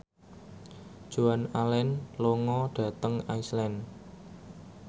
Joan Allen lunga dhateng Iceland